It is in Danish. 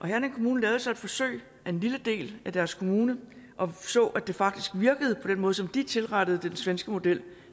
herning kommune lavede så et forsøg i en lille del af deres kommune og så at det faktisk virkede på den måde som de tilrettede den svenske model